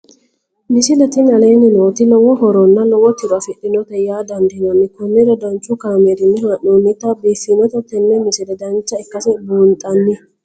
misile tini aleenni nooti lowo horonna lowo tiro afidhinote yaa dandiinanni konnira danchu kaameerinni haa'noonnite biiffannote tini misile dancha ikkase buunxanni